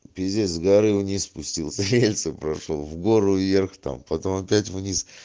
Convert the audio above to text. пиздец с горы вниз спустился рельсы прошёл в гору в верх там потом опять в низ